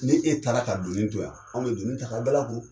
Ni e taara ka donin to yan, anw bɛ donin ta ka dalakuru.